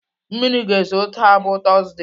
Mmiri ga-ezo taa bụ tọzdee.